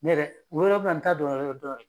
Ne yɛrɛ n t'a dɔ yɔrɔ dɔn